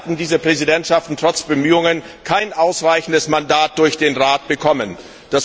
Leider hatten diese Präsidentschaften trotz Bemühungen kein ausreichendes Mandat durch den Rat erhalten.